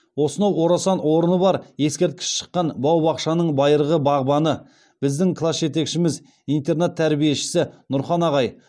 осынау орасан орны бар ескерткіш шыққан бау бақшаның байырғы бағбаны біздің класс жетекшіміз интернат тәрбиешісі нұрхан ағай